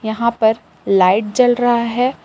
यहां पर लाइट जल रहा है।